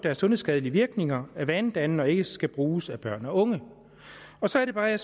har sundhedsskadelige virkninger er vanedannende og ikke skal bruges af børn og unge så er det bare at jeg